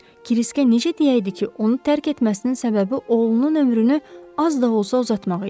Kriskə necə deyəydi ki, onu tərk etməsinin səbəbi oğlunun ömrünü az da olsa uzatmaq idi.